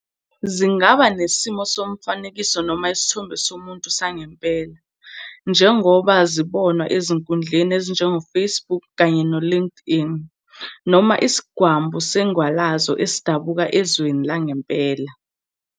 Zingaba nesimo somfanekiso noma isithombe somuntu sangempela, njengoba zibonwa ezinkundleni ezinjengo-Facebook kanye no-Linkedln, noma isidwambu sendwalazo esidabuka ezweni langempela.